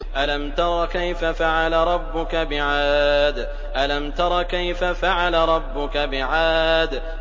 أَلَمْ تَرَ كَيْفَ فَعَلَ رَبُّكَ بِعَادٍ